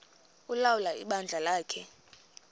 ulawula ibandla lakhe